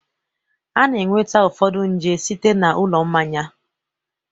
A na-enweta ụfọdụ nje site na ụlọ mmanya